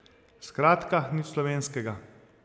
Skratka nič slovenskega.